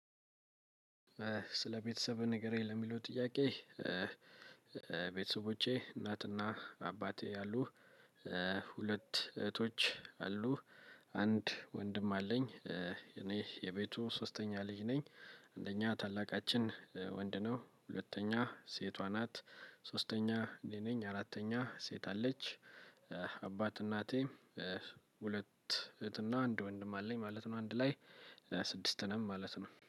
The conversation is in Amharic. ስለ ቤተሰብ ንገረኝ ለሚለው ጥያቄ? ቤተሰቦቼ እናትና አባቴ አሉ። ሁለት እህቶች አሉ። አንድ ወንድም አለኝ እኔ የቤቱ ሶስተኛ ልጅ ነኝ። አንደኛ ታላቃችን ወንድ ነው። ሁለተኛ ሴቷ ናት። ሶስተኛ እኔ ነኝ አራተኛ ሴት አለች። አባት እናቴ። ሁለት እህትና አንድ ወንድም አለኝ ማለት ነው። አንድ ላይ ስድስት ነን ማለት ነው